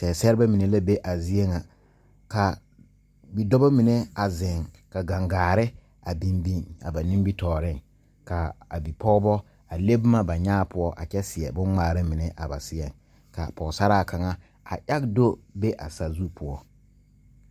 Seɛsɛrrebɛ mine la be a zie ŋa kaa bɔdɔbɔ mine a zeŋ ka gaŋgaare biŋ biŋ a ba nimitooreŋ kaa a bipɔgbɔ a le bomma ba nyaa poɔ a kyɛ seɛ bon ngmaara mine a ba seɛŋ kaa pɔgsaraa kaŋa a age do be a sazu poɔ.